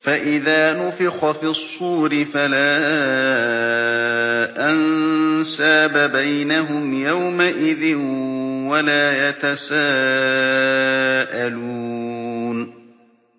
فَإِذَا نُفِخَ فِي الصُّورِ فَلَا أَنسَابَ بَيْنَهُمْ يَوْمَئِذٍ وَلَا يَتَسَاءَلُونَ